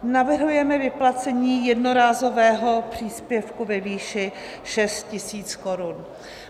Navrhujeme vyplacení jednorázového příspěvku ve výši 6 000 korun.